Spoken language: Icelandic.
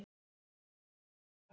Glottið var aldrei langt undan.